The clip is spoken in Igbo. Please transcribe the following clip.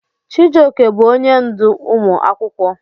Chijioke bụ onye ndú ụmụ akwụkwọ.